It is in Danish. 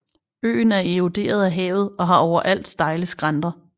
Øen er eroderet af havet og har overalt stejle skrænter